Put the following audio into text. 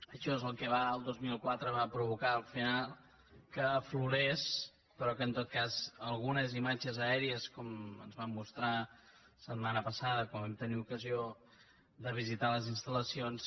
això és el que el dos mil quatre va provocar al final que aflorés però que en tot cas algunes imatges aèries com ens van mostrar la setmana passada quan vam tenir ocasió de visitar les installacions